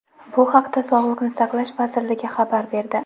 bu haqda Sog‘liqni saqlash vazirligi xabar berdi.